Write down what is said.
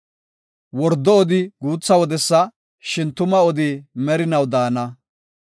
Wordo odi guutha wodesa; shin tuma odi merinaw de7ana.